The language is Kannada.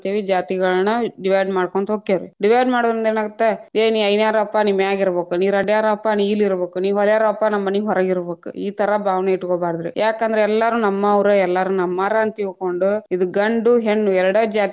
ಜಾತಿಗಳನ್ನ divide ಮಾಡ್ಕೊಂತ ಹೊಕ್ಕೇವ್ರೀ, divide ಮಾಡುದ್ರಿಂದ ಏನಾಗತ್ತ್‌ ಏ ನೀ ಐನ್ಯಾರವಪ್ಪಾ ನೀ ಮ್ಯಾಗೀರಬೇಕು ನೀ ರೆಡ್ಯ್ಡಾರವಪ್ಪಾ ನೀ ಇಲ್ಲ್‌ ಇರಬೇಕು ನೀ ಹೊಲ್ಯಾರವಪಾ ನಮ್ಮನೀ ಹೊರಗಿರಬೇಕ ಇ ತರಾ ಭಾವನೆ ಇಟಗೊಬಾರದ್ರಿ, ಯಾಕಂದ್ರ ಎಲ್ಲಾರು ನಮ್ಮವ್ರ ಎಲ್ಲಾರು ನಮ್ಮಾರ ಅಂತಿಳಕೊಂಡ, ಇದ್‌ ಗಂಡು ಹೆಣ್ಣು ಎರಡ ಜಾತಿ.